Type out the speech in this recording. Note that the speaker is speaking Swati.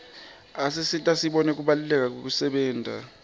asisita sibone kubaluleka kwekusebenta